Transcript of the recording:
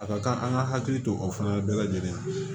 A ka kan an ka hakili to o fana bɛɛ la lajɛlen na